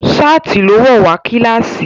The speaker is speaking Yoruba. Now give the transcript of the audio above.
ṣáàtì ló wọ̀ wá kílàsì.